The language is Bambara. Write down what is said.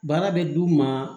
Baara bɛ d'u ma